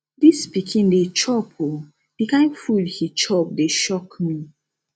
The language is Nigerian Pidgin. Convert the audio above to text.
dis pikin dey chop ooo the kin food he chop dey shock me